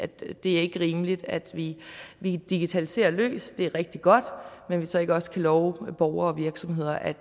det er ikke rimeligt at vi digitaliserer løs det er rigtig godt men så ikke også kan love borgere og virksomheder at